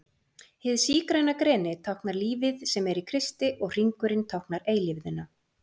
hið sígræna greni táknar lífið sem er í kristi og hringurinn táknar eilífðina